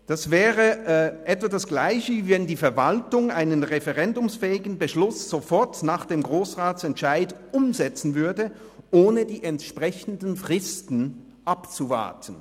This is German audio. Das wäre in etwa das Gleiche, wie wenn die Verwaltung einen referendumsfähigen Beschluss sofort nach dem Grossratsentscheid umsetzen würde, ohne die entsprechenden Fristen abzuwarten.